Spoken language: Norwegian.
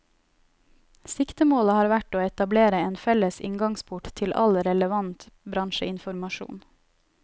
Siktemålet har vært å etablere en felles inngangsport til all relevant bransjeinformasjon.